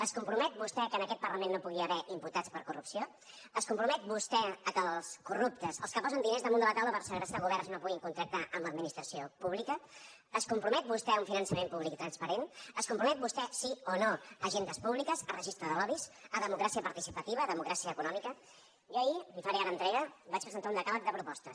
es compromet vostè que en aquest parlament no hi pugui haver imputats per corrupció es compromet vostè perquè els corruptes els que posen diners damunt de la taula per segrestar governs no puguin contractar amb l’administració pública es compromet vostè a un finançament públic i transparent es compromet vostè sí o no a agendes públiques a registres de lobbys a democràcia participativa a democràcia econòmica jo ahir li’n faré ara entrega vaig presentar un decàleg de propostes